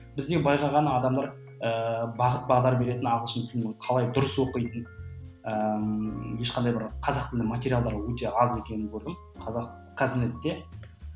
бізде байқағаны адамдар ыыы бағыт бағдар беретін ағылшын тілінің қалай дұрыс оқитынын ыыы ешқандай бір қазақ тілді материалдар өте аз екенін көрдім қазақ казнетте